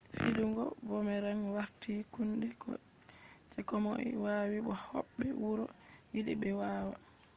fidugo boomerang warti kunde je komoi wawi bo hobbe wuro yidi be wawa